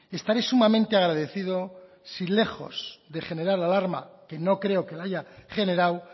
estaré sumamente agradecido si lejos de generar alarma que no creo que la haya generado